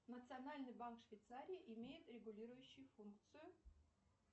национальный банк швейцарии имеет регулирующую функцию